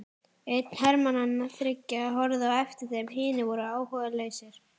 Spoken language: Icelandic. Einn hermannanna þriggja horfði á eftir þeim, hinir voru áhugalausir.